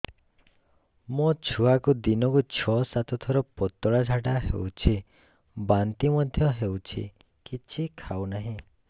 ମୋ ଛୁଆକୁ ଦିନକୁ ଛ ସାତ ଥର ପତଳା ଝାଡ଼ା ହେଉଛି ବାନ୍ତି ମଧ୍ୟ ହେଉଛି କିଛି ଖାଉ ନାହିଁ